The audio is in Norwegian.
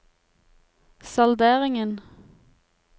salderingen